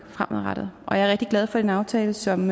fremadrettet og jeg rigtig glad for den aftale som